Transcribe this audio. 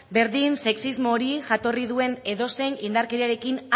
berdin sexismo hori jatorri duen edozein indarkeriarekin